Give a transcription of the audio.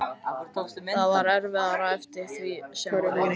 Það varð erfiðara eftir því sem á leið.